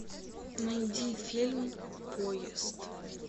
найди фильм поезд